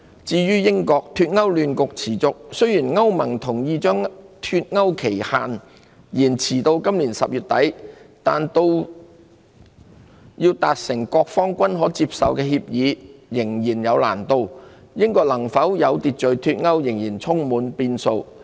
至於英國，脫歐亂局持續，雖然歐洲聯盟同意將脫歐期限延遲至今年10月底，但要達成各方均可接受的協議仍有難度，英國能否有序脫歐仍充滿變數。